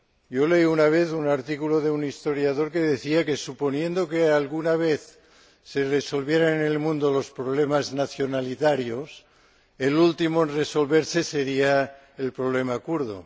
Yo leí una vez un artículo de un historiador que decía que, suponiendo que alguna vez se resolvieran en el mundo los problemas nacionalitarios, el último en resolverse sería el problema kurdo.